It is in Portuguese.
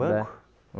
Banco? É